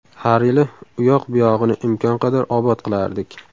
Har yili uyoq-buyog‘ini imkon qadar obod qilardik.